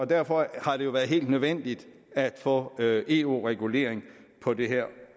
derfor har det jo være helt nødvendigt at få eu regulering på det her